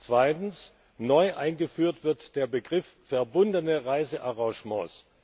Zweitens Neu eingeführt wird der Begriff verbundene Reisearrangements.